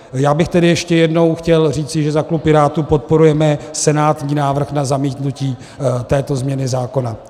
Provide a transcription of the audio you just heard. Já bych tedy ještě jednou chtěl říci, že za klub Pirátů podporujeme senátní návrh na zamítnutí této změny zákona.